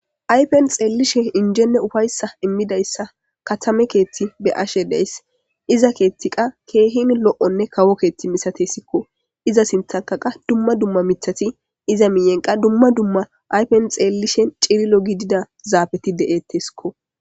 Ayifeni xelishin injenne ufayisa gididayisa katame kethi xelashe deyayisi iza kethi kehi loyonne kawo kethi misatesi iza sinthani qassi duma duma mithati iza miyeni qassi xelishini cililo gidida zafeti deyesiko